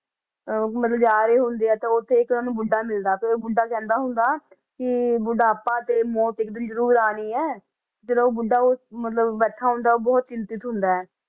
ਅਹ ਮਤਲਬ ਜਾ ਰਹੇ ਹੁੰਦੇ ਆ ਤਾਂ ਉੱਥੇ ਇੱਕ ਉਹਨਾਂ ਨੂੰ ਬੁੱਢਾ ਮਿਲਦਾ ਫਿਰ ਉਹ ਬੁੱਢਾ ਕਹਿੰਦਾ ਹੁੰਦਾ ਕਿ ਬੁਢਾਪਾ ਤੇ ਮੌਤ ਇੱਕ ਦਿਨ ਜ਼ਰੂਰ ਆਉਣੀ ਹੈ, ਜਦੋਂ ਉਹ ਬੁੁੱਢਾ ਉਸ ਮਤਲਬ ਬੈਠਾ ਹੁੰਦਾ ਉਹ ਬਹੁਤ ਚਿੰਤਤ ਹੁੰਦਾ ਹੈ।